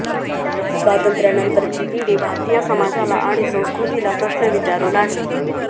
स्वातंत्र्यानंतरची पिढी भारतीय समाजाला आणि संस्कृतीला प्रश्न विचारू लागली